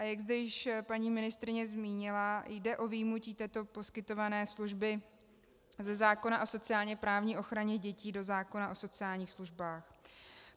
A jak zde již paní ministryně zmínila, jde o vyjmutí této poskytované služby ze zákona o sociálně-právní ochraně dětí do zákona o sociálních službách.